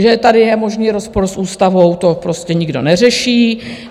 Že tady je možný rozpor s ústavou, to prostě nikdo neřeší.